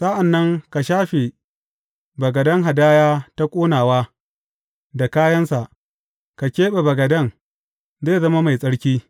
Sa’an nan ka shafe bagaden hadaya ta ƙonawa da kayansa; ka keɓe bagaden, zai zama mai tsarki.